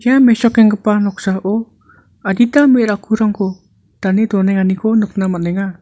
ia mesokenggipa noksao adita me·rakkurangko dane donenganiko nikna man·enga.